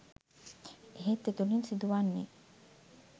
එහෙත් එතුලින් සිදුවන්නේ